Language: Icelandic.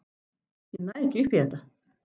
Ég næ ekki upp í þetta.